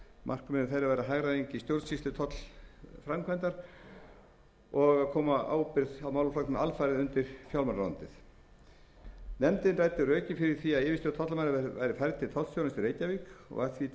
markmið þeirra væri að hagræða í stjórnsýslu tollframkvæmdar og koma ábyrgð á málaflokknum alfarið undir fjármálaráðuneytið nefndin ræddi rökin fyrir því að yfirstjórn tollamála væri færð til tollstjórans í reykjavík og var því til stuðnings vísað til